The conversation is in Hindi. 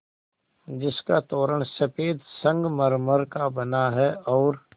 जिसका तोरण सफ़ेद संगमरमर का बना है और